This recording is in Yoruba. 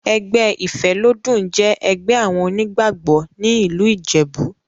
Ẹgbẹ́ ìfélódún jẹ́ ẹgbẹ́ àwọn onígbàgbọ́ ní ìlú ìjẹ̀bú.